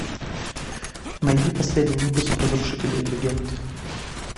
найди последний выпуск разрушители легенд